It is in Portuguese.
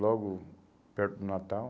logo perto do Natal.